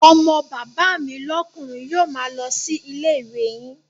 Ọmọ bàbá mi lókùnri yio ma lo si ilé ìwé yin